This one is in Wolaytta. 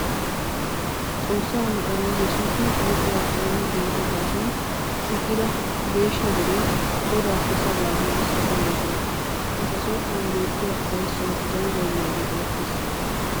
Xoossaa na'ay Yesuusi hayquwa xooni denddo gaasuwan shiiqida geeshsha deree godaassi sabaa giigissi simmoosona. Eta som"uwan beettiya ufayssawu zawi baynnaagee erettes.